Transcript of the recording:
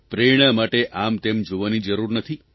પ્રેરણા માટે આમતેમ જોવાની જરૂર નથી